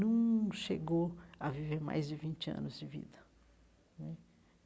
num chegou a viver mais de vinte anos de vida né.